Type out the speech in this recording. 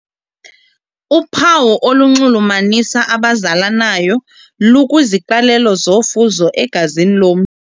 Uphawu olunxulumanisa abazalanayo lukwiziqalelo zofuzo egazini lom.